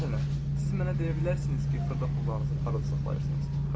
Məsələn, siz mənə deyə bilərsiniz ki, xırda pullarınızı harada saxlayırsınız?